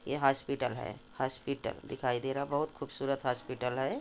Hospital है hospital दे दिखाई दे रहा है बहुत खूबसूरत हॉस्पिटल है।